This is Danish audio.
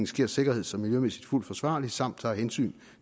sker sikkerheds og miljømæssigt fuldt forsvarligt samt tager hensyn